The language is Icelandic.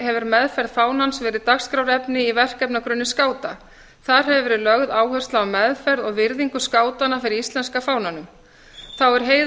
hefur meðferð fánans verið dagskrárefni í verkefnagrunni skáta þar hefur verið lögð áhersla á meðferð og virðingu skátanna fyrir íslenska fánanum þá er